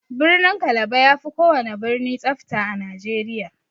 Birnin kalaba yafi kowana birni tsafta a nigeria.